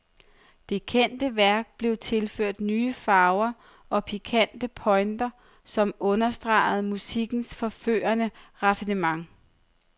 Det kendte værk blev tilføjet nye farver og pikante pointer, som understregede musikkens forførende raffinement.